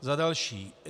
Za další.